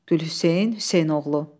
Gülhüseyn Hüseynoğlu.